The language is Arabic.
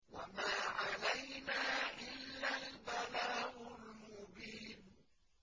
وَمَا عَلَيْنَا إِلَّا الْبَلَاغُ الْمُبِينُ